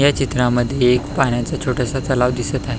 ह्या चित्रामध्ये एक पाण्याच छोटंसं तलाव दिसत आहे.